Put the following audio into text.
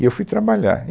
E eu fui trabalhar.